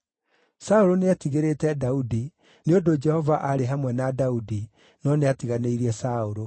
Saũlũ nĩetigĩrĩte Daudi, nĩ ũndũ Jehova aarĩ hamwe na Daudi, no nĩatiganĩirie Saũlũ.